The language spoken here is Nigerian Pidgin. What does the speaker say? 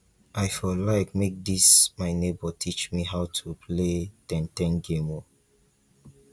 i for like make dis my nebor teach me how to play ten ten game o